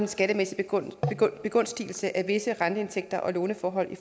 skattemæssige begunstigelse af visse renteindtægter og låneforhold i